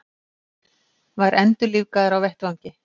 Var endurlífgaður á vettvangi